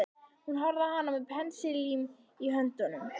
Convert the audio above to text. Hún horfði á hann með pensilinn í höndunum.